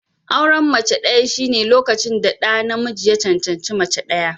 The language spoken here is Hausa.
Auren mace ɗaya shine lokacin da namiji ya cancanci mace ɗaya.